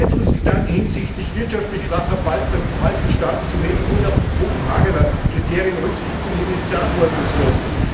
Erweiterungsgedanken hinsichtlich wirtschaftlich schwacher Balkanstaaten zu hegen, ohne auf die Kopenhagener Kriterien Rücksicht zu nehmen, ist verantwortungslos.